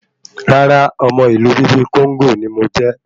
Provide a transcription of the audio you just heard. Rárá, ọmọ Ìlú bíbí kóńgó ní mo jẹ